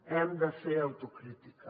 hem de fer autocrítica